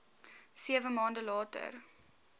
sewe maande later